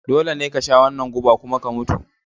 Dole ne ka sha wannan guba kuma ka mutu!